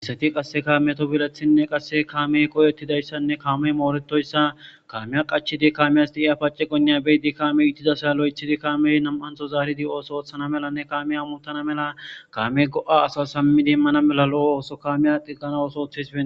iseti qasse kaamiyeto bilethinne qasse kaamey qoyettidayssanne kaamey mooretoyssa kaamiya qachidi kaamiyas di7iya paciqonniya beyi di kaame ittidasay lo7ethidi kaame nam7antho zaaridi ooso ooththana melanne kamiya mutana mela kame go7a asa sammidiimmana mela lo7o ooso kamiya qiggana ooso oththespe